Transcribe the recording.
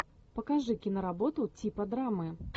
покажи киноработу типа драмы